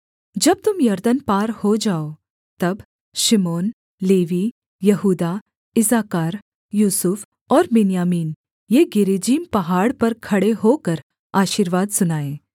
जब तुम यरदन पार हो जाओ तब शिमोन लेवी यहूदा इस्साकार यूसुफ और बिन्यामीन ये गिरिज्जीम पहाड़ पर खड़े होकर आशीर्वाद सुनाएँ